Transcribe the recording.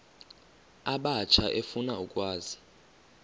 abatsha efuna ukwazi